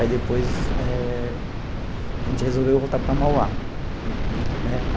Aí depois eh a gente resolveu voltar para Mauá. Uhum. Né.